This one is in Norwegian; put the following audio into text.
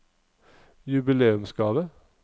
jubileumsgave